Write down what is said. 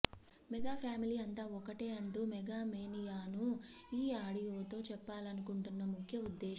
mega family అంతా ఒక్కటే అంటూ మెగా మేనియాను ఈ ఆడియోతో చెప్పాలనుకుంటున్న ముఖ్య ఉద్దేశం